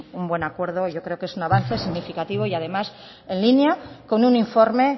un buen acuerdo yo creo que es un avance significativo y además en línea con un informe